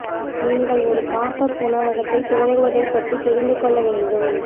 நீங்கள் ஒரு pop up உணவகத்தை துவங்குவதை பற்றி தெரிந்து கொள்ள வேண்டும்